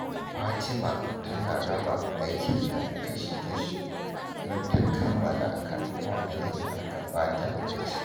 Fatima tana raba aikinta kashi-kashi don ta kammala kafin wa’adin da aka ba ta ya cika.